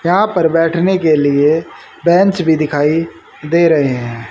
यहां पर बैठने के लिए बेंच भी दिखाई दे रहे हैं।